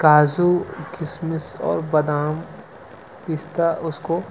काजू किशमिश और बादाम पिस्ता उसको --